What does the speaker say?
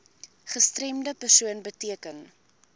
gestremde persoon beteken